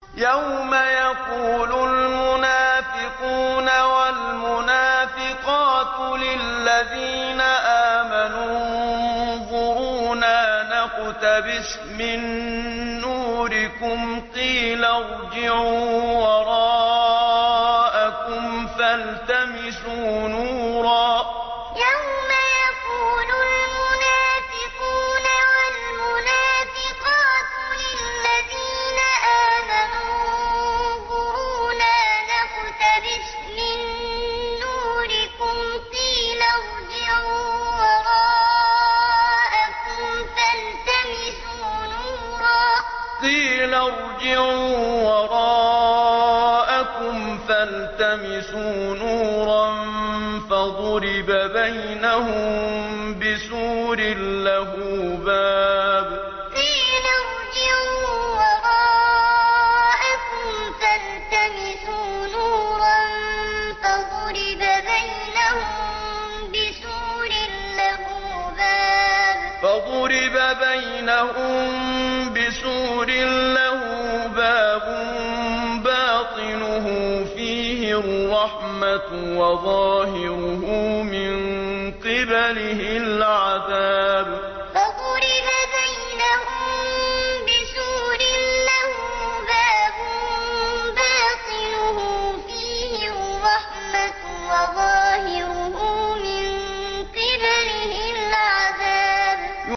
يَوْمَ يَقُولُ الْمُنَافِقُونَ وَالْمُنَافِقَاتُ لِلَّذِينَ آمَنُوا انظُرُونَا نَقْتَبِسْ مِن نُّورِكُمْ قِيلَ ارْجِعُوا وَرَاءَكُمْ فَالْتَمِسُوا نُورًا فَضُرِبَ بَيْنَهُم بِسُورٍ لَّهُ بَابٌ بَاطِنُهُ فِيهِ الرَّحْمَةُ وَظَاهِرُهُ مِن قِبَلِهِ الْعَذَابُ يَوْمَ يَقُولُ الْمُنَافِقُونَ وَالْمُنَافِقَاتُ لِلَّذِينَ آمَنُوا انظُرُونَا نَقْتَبِسْ مِن نُّورِكُمْ قِيلَ ارْجِعُوا وَرَاءَكُمْ فَالْتَمِسُوا نُورًا فَضُرِبَ بَيْنَهُم بِسُورٍ لَّهُ بَابٌ بَاطِنُهُ فِيهِ الرَّحْمَةُ وَظَاهِرُهُ مِن قِبَلِهِ الْعَذَابُ